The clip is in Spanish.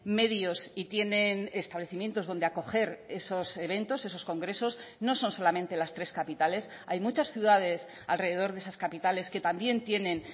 medios y tienen establecimientos donde acoger esos eventos esos congresos no son solamente las tres capitales hay muchas ciudades alrededor de esas capitales que también tienen